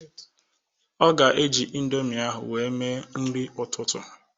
Ọ ga eji ịndomi ahụ wee mee nri ụtụtụ